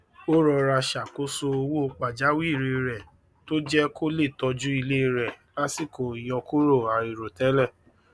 ó rọra ṣàkóso owó pajawiri rẹ tó jẹ kó lè tọjú ilé rè lásìkò ìyọkúrò àìròtẹlẹ